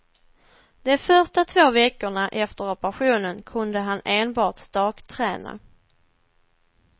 De första två veckorna efter operationen kunde han enbart stakträna.